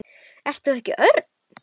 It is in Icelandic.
Ert þú ekki Örn?